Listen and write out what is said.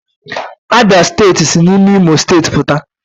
Abia steeti si n'ime imo steeti puta